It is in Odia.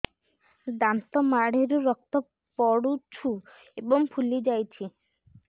ଦାନ୍ତ ମାଢ଼ିରୁ ରକ୍ତ ପଡୁଛୁ ଏବଂ ଫୁଲି ଯାଇଛି